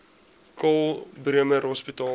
karl bremer hospitaal